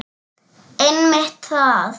Einmitt það.